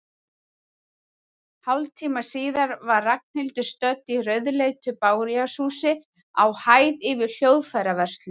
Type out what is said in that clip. Hálftíma síðar var Ragnhildur stödd í rauðleitu bárujárnshúsi, á hæð yfir hljóðfæraverslun.